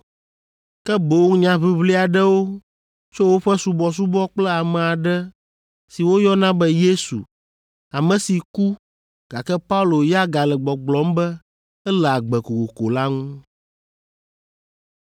ke boŋ nyaʋiʋli aɖewo tso woƒe subɔsubɔ kple ame aɖe si woyɔna be Yesu, ame si ku, gake Paulo ya gale gbɔgblɔm be ele agbe kokoko la ŋu.